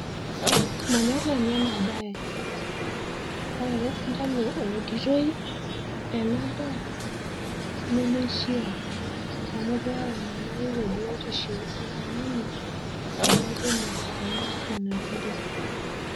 Manyorr nanu enabaye. Ore ele sindanu ouditoi enadaa nemeishiaa anu keyau enyamali te biotisho oltungani adake olo anya nena kiri.